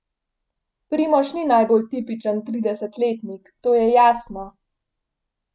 Primož ni najbolj tipičen tridesetletnik, to je jasno.